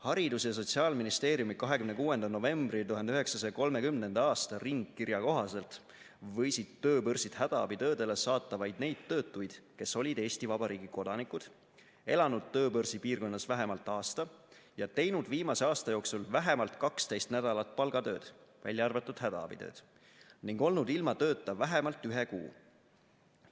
Haridus- ja Sotsiaalministeeriumi 26. novembri 1930. aasta ringkirja kohaselt võisid tööbörsid hädaabitöödele saata vaid neid töötuid, kes olid Eesti Vabariigi kodanikud, elanud tööbörsi piirkonnas vähemalt aasta ja teinud viimase aasta jooksul vähemalt 12 nädalat palgatööd, välja arvatud hädaabitööd, ning olnud ilma tööta vähemalt ühe kuu.